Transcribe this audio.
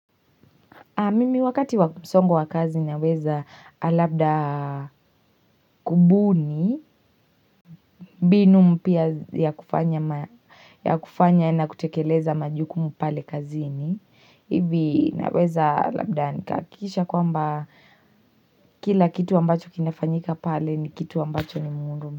Mimi wakati wakumsongo wa kazi naweza alabda kubuni binu mpya ya kufanya na kutekeleza majukumu pale kazini Ivi naweza labda nikakisha kwamba kila kitu ambacho kinafanyika pale ni kitu ambacho ni mwuru.